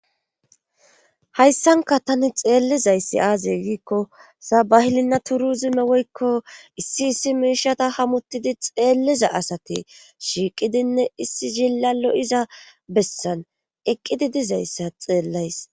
Hayssanka tani xeellizayssi aaze giikko sabahilinna turu zime woykko issi issi miishata hamuttidi xeelliza asati shiiqidinne issi zilalo iza bessan eqqidi dizayssa xeellays.